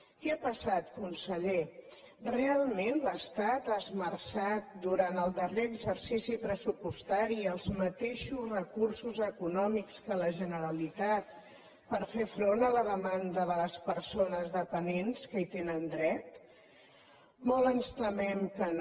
què ha passat conseller realment l’estat ha esmerçat durant el darrer exercici pressupostari els mateixos recursos econòmics que la generalitat per fer front a la demanda de les persones dependents que hi tenen dret molt ens temem que no